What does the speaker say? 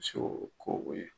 ko beyi.